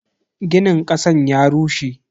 Ginin kasan ya rushe.